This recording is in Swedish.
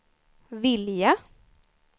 vilja